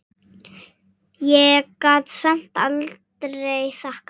Ég gat samt aldrei þakkað